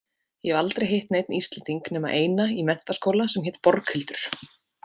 Ég hef aldrei hitt neinn Íslending nema eina í menntaskóla sem hét Borghildur.